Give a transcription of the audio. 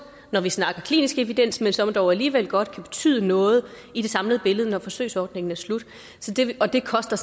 når vi snakker klinisk evidens men som dog alligevel godt kan betyde noget i det samlede billede når forsøgsordningen er slut og det koster